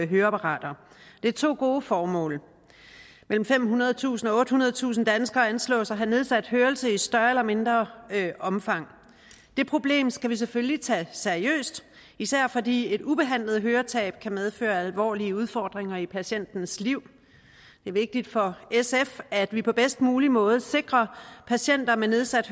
høreapparater det er to gode formål mellem femhundredetusind og ottehundredetusind danskere anslås at have nedsat hørelse i større eller mindre omfang det problem skal vi selvfølgelig tage seriøst især fordi et ubehandlet høretab kan medføre alvorlige udfordringer i patientens liv det er vigtigt for sf at vi på bedst mulig måde sikrer patienter med nedsat